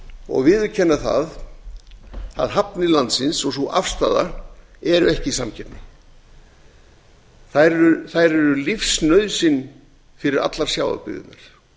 og viðurkenna að hafnir landsins og sú afstaða er ekki í samkeppni þær eru lífsnauðsyn fyrir allar sjávarbyggðirnar